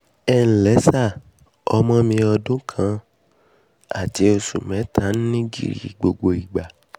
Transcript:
ẹ ǹlẹ́ sà ọmọ mi ọdún kan àti oṣù mẹ́ta ń ní gìrì gbogbo ìgbà